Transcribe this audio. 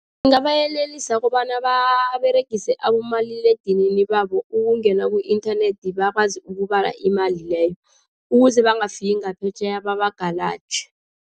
Ngingabayelelisa kobana baberegise abomaliledinini babo, ukungena ku-internet bakwazi ukubeka imali leyo ukuze bangafaki ngaphetjheya babagalaje.